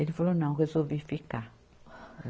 Ele falou, não, resolvi ficar.